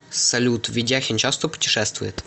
салют ведяхин часто путешествует